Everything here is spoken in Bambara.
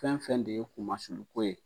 Fɛn fɛn de ye kumasulu ko ye